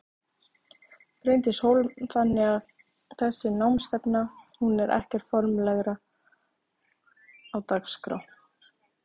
Bryndís Hólm: Þannig að þessi námsstefna hún er ekkert formlegra á dagskrá?